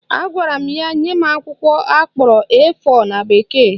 Agwara m ya nye m akwụkwọ akpọrọ A4 na bekee